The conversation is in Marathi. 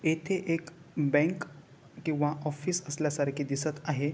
येथे एक बँक किंवा ऑफिस असल्या सारखे दिसत आहे.